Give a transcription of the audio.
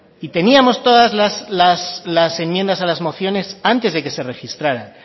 y teníamos todas las enmiendas a las mociones antes de que se registraran